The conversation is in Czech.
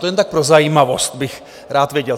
To jen tak pro zajímavost bych rád věděl.